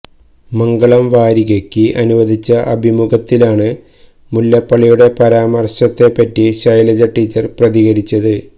മംഗളം വാരികയ്ക്ക് അനുവദിച്ച അഭിമുഖത്തിലാണ് മുല്ലപ്പള്ളിയുടെ പരാമര്ശത്തെപ്പറ്റി ശൈലജ ടീച്ചര് പ്രതികരിച്ചത്